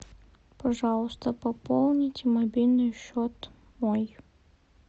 пожалуйста пополните мобильный счет мой